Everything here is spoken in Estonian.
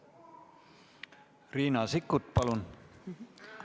Riina Sikkut, palun!